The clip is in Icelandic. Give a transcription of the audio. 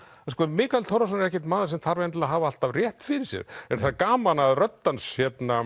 sko Mikael Torfason er ekkert maður sem þarf að hafa alltaf rétt fyrir sér en það er gaman að rödd hans